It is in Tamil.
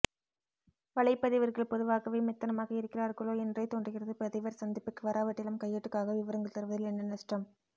வலைப் பதிவர்கள் பொதுவாகவே மெத்தனமாக இருக்கிறார்களோ என்றே தோன்றுகிறதுபதிவர் சந்திப்புக்கு வராவிட்டாலும் கையேட்டுக்காக விவரங்கள் தருவதில் என்ன நஷ்டம்